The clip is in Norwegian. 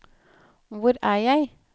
hvor er jeg